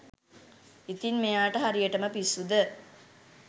ඉතින් මෙයාට හරියටම පිස්සු ද